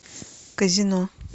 казино